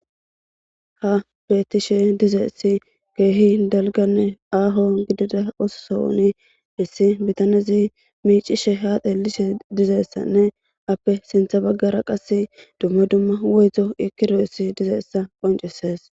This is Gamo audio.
Ha betishe dizaysi kehi dalgane aho gidida oso sohoni issi bitanezi mic'she ha xelishe dizaysane ape sinta bagara qase duma duma woyto eqidaysi dizaysa qonc'ses.